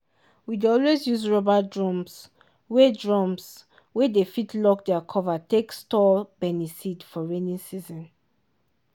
we dey always use rubber drums wey drums wey dey fit lock their cover take store beniseed for rainy season.